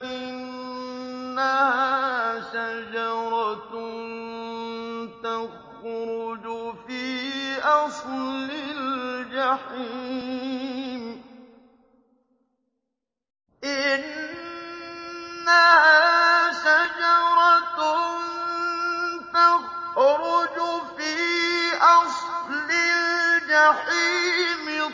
إِنَّهَا شَجَرَةٌ تَخْرُجُ فِي أَصْلِ الْجَحِيمِ